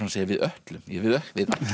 við ætlum við